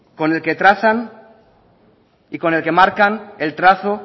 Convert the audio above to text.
con el que trazan y con el que marcan el trazo